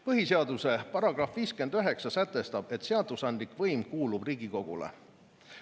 Põhiseaduse § 59 sätestab, et seadusandlik võim kuulub Riigikogule.